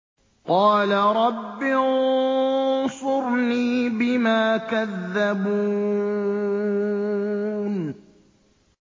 قَالَ رَبِّ انصُرْنِي بِمَا كَذَّبُونِ